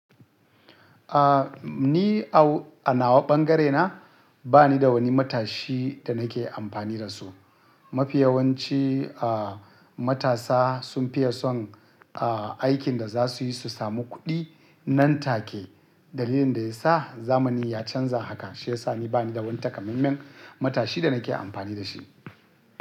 Ah ni a, a nawa ɓangarena bani da wani matashi da nake amfani da su. Mafi yawanci ah matasa sun fiye son aikin da za su yi su samu kuɗi nan take. Dalilin da ya sa zamani ya canza haka shi ya sa ni bani da wani takamaiman matashi da nake amfani da shi.